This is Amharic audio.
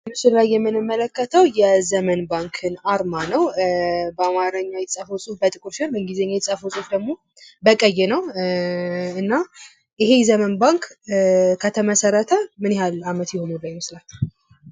ምስሉ ላይ የምንመለከተው የዘመን ባንክን አርማ ነው። በአማርኛ የተፃፈው በጥቁር ሲሆን በእንግሊዝኛ የተጻፈው ፁፍ ደግሞ በቀይ ነው። እና ይሄ ዘመን ባንክ ከተመሠረተ ምን ያህል አመት የኖረ ይመስላችኋል?